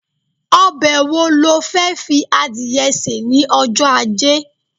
obe wo lo De fi adìye se ni ojo aje